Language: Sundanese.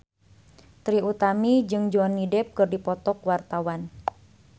Trie Utami jeung Johnny Depp keur dipoto ku wartawan